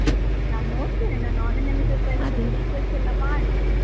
ನಾನ್ ನೋಡ್ತೇನೆ ನಾನು online ನಲ್ಲಿ ಎಲ್ಲ discuss ಎಲ್ಲ ಮಾಡಿ,